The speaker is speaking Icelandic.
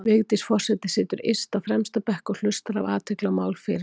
Vigdís forseti situr yst á fremsta bekk og hlustar af athygli á mál fyrirlesara.